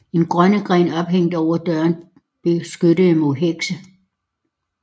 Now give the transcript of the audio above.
En rønnegren ophængt over døren beskyttede mod hekse